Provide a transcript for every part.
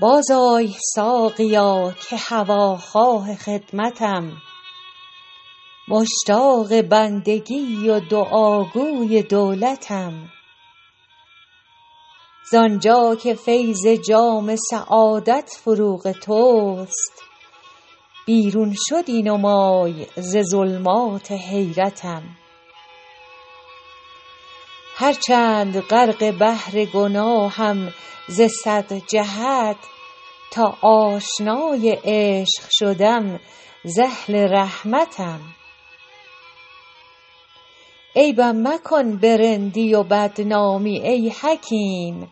بازآی ساقیا که هواخواه خدمتم مشتاق بندگی و دعاگوی دولتم زان جا که فیض جام سعادت فروغ توست بیرون شدی نمای ز ظلمات حیرتم هرچند غرق بحر گناهم ز صد جهت تا آشنای عشق شدم ز اهل رحمتم عیبم مکن به رندی و بدنامی ای حکیم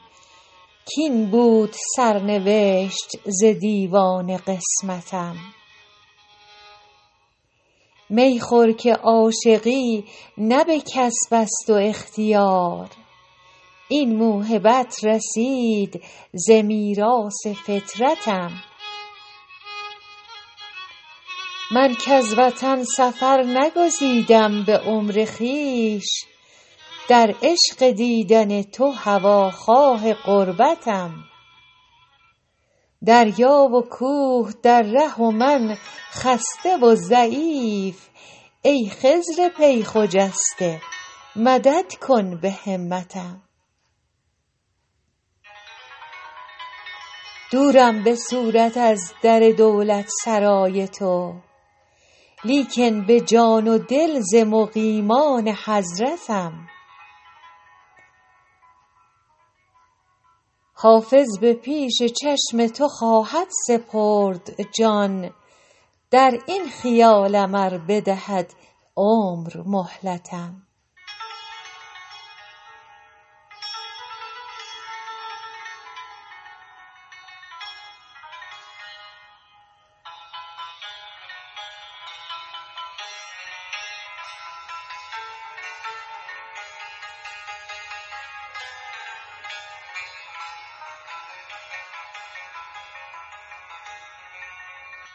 کاین بود سرنوشت ز دیوان قسمتم می خور که عاشقی نه به کسب است و اختیار این موهبت رسید ز میراث فطرتم من کز وطن سفر نگزیدم به عمر خویش در عشق دیدن تو هواخواه غربتم دریا و کوه در ره و من خسته و ضعیف ای خضر پی خجسته مدد کن به همتم دورم به صورت از در دولتسرای تو لیکن به جان و دل ز مقیمان حضرتم حافظ به پیش چشم تو خواهد سپرد جان در این خیالم ار بدهد عمر مهلتم